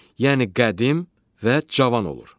Yəni qədim və cavan olur.